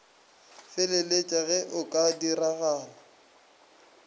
feleletše ge go ka diragala